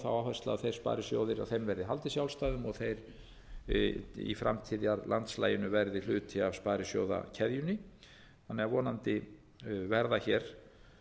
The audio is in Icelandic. þeir sparisjóðir að þeim verði haldið sjálfstæðum og þeir í framtíðarlandslaginu verði hluti af sparisjóðakeðjunni þannig að vonandi verða hér